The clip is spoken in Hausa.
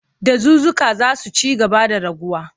Dazuzzuka za su ci gaba da raguwa.